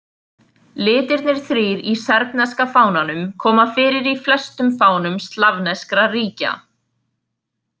Litirnir þrír í serbneska fánanum koma fyrir í flestum fánum slavneskra ríkja.